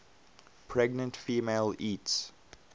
pregnant female eats